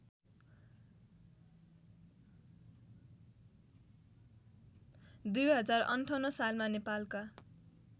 २०५८ सालमा नेपालका